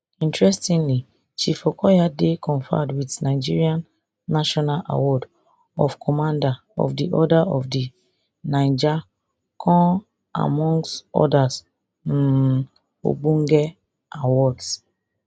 interestingly chief okoya dey conferred wit nigeria national award of commander of di order of di niger con amongst oda um ogbonge awards